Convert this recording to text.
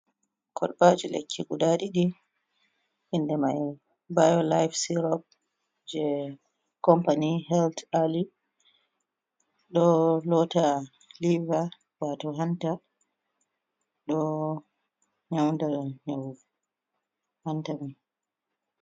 Kolbaji lekki guda ɗiɗi inde mai bayo laiv cerop, je company helth alli ɗo lota leva wato hanta, ɗo nyauda ni hantami.